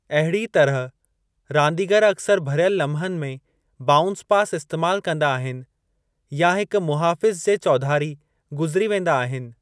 अहिड़ीअ तरह, रांदीगरु अक्सर भरियल लमहनि में बाउंस पास इस्तेमाल कंदा आहिनि, या हिक मुहाफ़िजु जे चौधारी गुज़िरी वेंदा आहिनि।